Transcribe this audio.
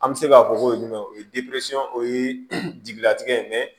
An bɛ se k'a fɔ ko jumɛn o ye o ye jigilatigɛ ye